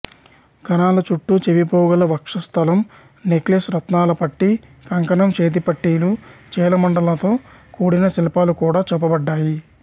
గణాల చుట్టూ చెవిపోగులు వక్షస్థలం నెక్లెస్ రత్నాల పట్టీ కంకణం చేతిపట్టీలు చీలమండలతో కూడిన శిల్పాలు కూడా చూపబడ్డాయి